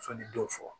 Sɔnni dɔw fɔ